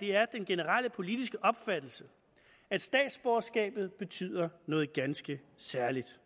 det er den generelle politiske opfattelse at statsborgerskabet betyder noget ganske særligt